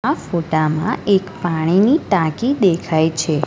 આ ફોટામાં એક પાણીની ટાંકી દેખાય છે.